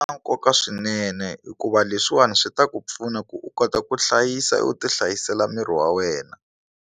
Swi nkoka swinene hikuva leswiwani swi ta ku pfuna ku u kota ku hlayisa u ti hlayisela miri wa wena.